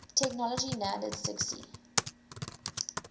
technology nanded sggsie